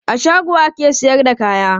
A shago ake sayar da kaya.